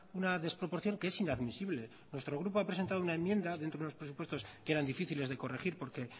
una desproporción que es inadmisible nuestro grupo ha presentado una enmienda dentro de los presupuestos que eran difíciles de corregir porque